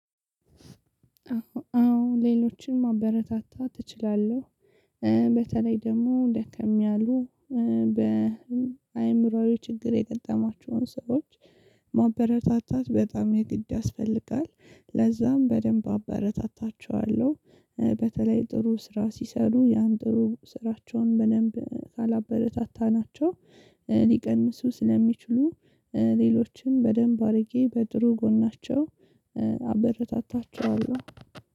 አዎ ሌሎችንም ማበረታታ እችላለሁ። በተለይ ደግሞ ደካም ያሉ በአእምሮአዊ ችግር የገጠሟቸውን ሰዎች ማበረታታት በጣም የግድ ያስፈልጋል። ለዛም በደንብ አበረታታቸዋለሁ። በተለይ ጥሩ ስራ ሲሰሩ ያን ጥሩ ስራቸውን በደንብ ካላበረታታናቸው ሊቀንሱ ስለሚችሉ ሌሎችን በደንብ አድርጌ በጥሩ ጎናቸው አበረታታቸዋለሁ።